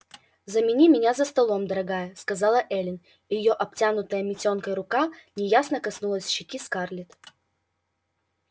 замени меня за столом дорогая сказала эллин и её обтянутая митенкой рука неясно коснулась щеки скарлетт